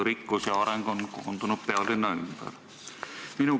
Rikkus ja areng on koondunud pealinna ümber.